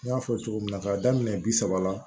N y'a fɔ cogo min na k'a daminɛ bi saba la